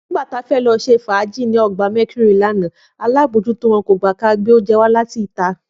Nígbà ta fẹ́ lọ ṣe fàájì ní ọgbà Mercury lánàá, alábòójútó wọn kò gbà ka gbé oúnjẹ wá láti ìta